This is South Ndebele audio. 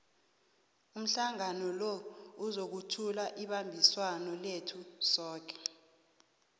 umhlangano lo uzokuthula ibambiswano lethu soke